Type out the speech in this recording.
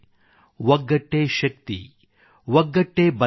ಒಗ್ಗಟ್ಟೇ ಪ್ರಗತಿ ಒಗ್ಗಟ್ಟೇ ಸಬಲೀಕರಣ